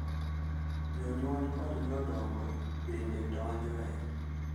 jonyuol kod jodongo bende donjoe.